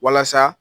Walasa